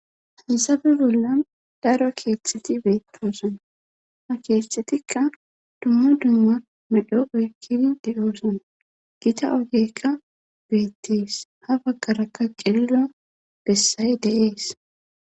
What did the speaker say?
hasabe bolla daro keeththeti beetoosan ha keeththetikka dumma dumma medho ekkidi de7oosana gita ogeykka beettees ha baggarakka qillo bessaye deees